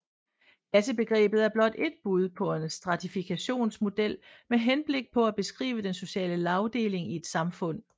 Klassebegrebet er blot ét bud på en stratifikationsmodel med henblik på at beskrive den sociale lagdeling i et samfund